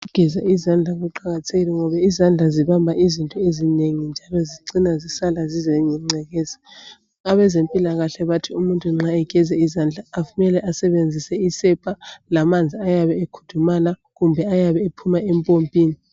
Ukugeza izandla kuqakathekile ngoba izandla zibamba izinto ezinengi njalo zicina zisala zilengeceka. Abezempilakahle bathi umuntu nxa egeza izandla kumele asebenzise isepa lamanzi ayabe ekudumala kumbe ayabe ephuma empompini.